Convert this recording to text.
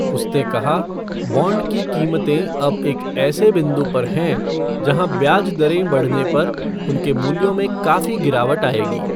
उसने कहा, बॉन्ड की कीमतें अब एक ऐसे बिंदु पर हैं जहाँ ब्याज दरें बढ़ने पर उनके मूल्यों में काफी गिरावट आएगी।